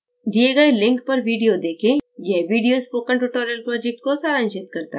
दिए गए link पर video देखें यह video spoken tutorial project को सारांशित करता है